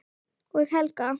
Og Helga!